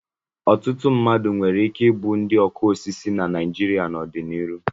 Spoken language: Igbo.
Ọtụtụ mmadụ nwere ike ịbụ ndị ọkụ osisi na Naịjirịa n'ọdịnihu.